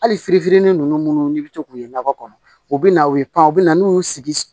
Hali fitini fitini nunnu munnu ni bi to k'u ye nakɔ kɔnɔ u bi na u ye pan u bɛ na n'u y'u sigi